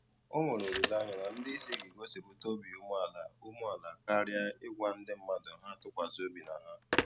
Ọ nwere olileanya na ndị isi ga-egosipụta obi umeala umeala karịa ị gwa ndị mmadụ ha tụkwasị obi na ha.